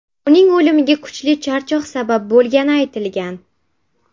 Uning o‘limiga kuchli charchoq sabab bo‘lgani aytilgan.